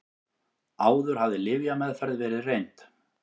Áður hafði lyfjameðferð verið reynd